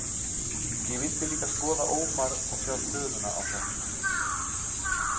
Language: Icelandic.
Ég vildi líka skoða Ómar og sjá stöðuna á honum.